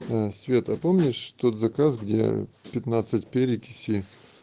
свет а помнишь тот заказ где пятнадцать перекиси